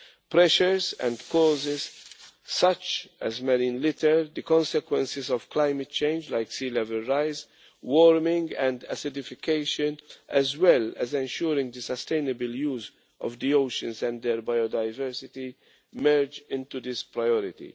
Pressures and causes such as marine litter, the consequences of climate change, such as a rise in sea level, warming and acidification, as well as ensuring the sustainable use of the oceans and their biodiversity, merge into this priority.